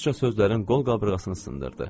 Rusca sözlərin qol qabırğasını sındırdı.